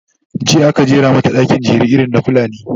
jiya aka jera mata ɗaki, jere irin na fulani